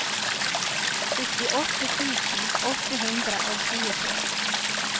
syttiåtte tusen åtte hundre og tjuetre